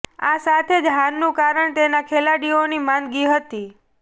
આ સાથે જ હારનું કારણ તેના ખેલાડીઓની માંદગી હતી